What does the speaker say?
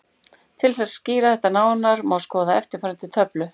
Til þess að skýra þetta nánar má skoða eftirfarandi töflu: